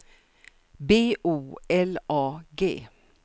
B O L A G